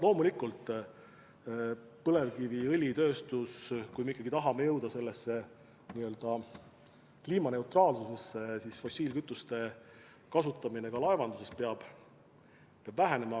Loomulikult, mis puutub põlevkiviõli tootmisse, siis kui me ikkagi tahame jõuda kliimaneutraalsusesse, siis fossiilkütuste kasutamine ka laevanduses peab vähenema.